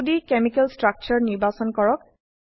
2ডি chemical ষ্ট্ৰাকচাৰে নিৰ্বাচন কৰক